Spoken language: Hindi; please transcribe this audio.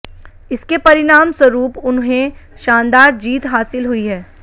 इसके परिणाम स्वरूप उन्हंे शानदार जीत हासिल हुई है